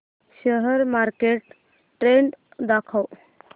share market trend दाखव